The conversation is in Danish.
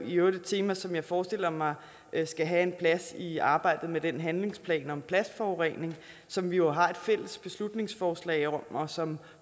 i øvrigt et tema som jeg forestiller mig skal have en plads i arbejdet med den handlingsplan om plastforurening som vi jo har et fælles beslutningsforslag om og som